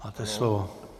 Máte slovo.